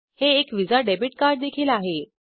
हे एक Visa debit कार्डदेखील आहे